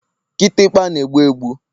Kịtịkpa na-egbu egbu